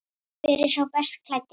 Hver er sá best klæddi?